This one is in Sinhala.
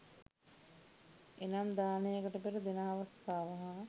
එනම් දානයකට පෙර, දෙන අවස්ථාව හා